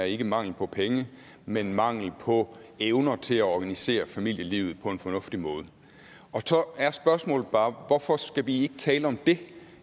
ikke er mangel på penge men mangel på evne til at organisere familielivet på en fornuftig måde og så er spørgsmålet bare hvorfor skal vi ikke tale om det